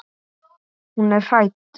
Hún er hrædd.